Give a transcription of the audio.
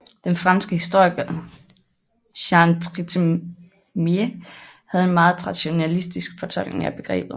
Den franske historiker Jean Trithemié havde en meget nationalistisk tolkning af begrebet